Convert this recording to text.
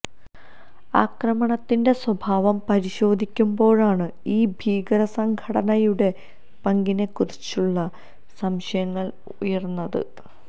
ആക്രമണത്തിന്റെ സ്വഭാവം പരിശോധിക്കുമ്പോഴാണ് ഈ ഭീകരസംഘടനയുടെ പങ്കിനെ കുറിച്ചുള്ള സംശയങ്ങള് ഉയര്ന്നത്